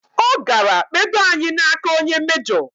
O gara kpedo anyi n'aka onye mejo